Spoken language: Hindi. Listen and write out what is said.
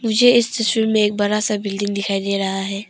मुझे इस तस्वीर में एक बड़ा सा बिल्डिंग दिखाई दे रहा है।